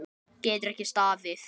Getur ekki staðið.